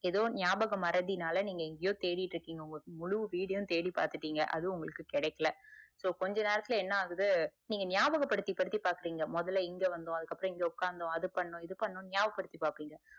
எதோ நியாபக மரதினால எங்கேயோ தேடிக்கிட்டு இருக்கிறீங்க முழு வீடும் தேடி பாத்துடீங்க அது உங்களுக்கு கெடைக்கல so கொஞ்ச நேரத்துல என்ன ஆகுது நீங்க நியாபக படுத்தி படுத்தி படுத்தி பாக்குறீங்க முதல இங்கஅதுக்கு அப்புறம் வந்தோம் இங்க உட்காந்தோம் அது பண்ணோம் இது பண்ணோம் நியாபக படுத்தி பாப்பீங்க